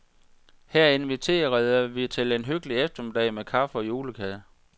Her inviterede vi til en hyggelig eftermiddag med kaffe og julekage.